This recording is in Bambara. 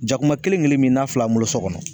Jakuma kelen kelen min n'a fila bolo so kɔnɔ